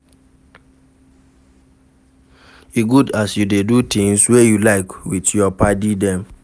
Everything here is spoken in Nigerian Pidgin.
E good as you dey do tins wey you like wit your paddy dem.